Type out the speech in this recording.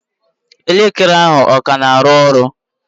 Elekere ahụ ọ ka na aru-oru?